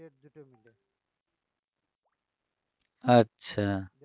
আচ্ছা